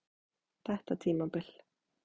Þetta tímabil?